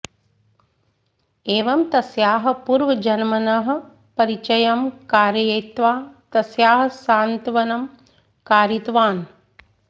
एवं तस्याः पूर्वजन्मनः परिचयं कारयित्वा तस्याः सान्त्वनं कारितवान्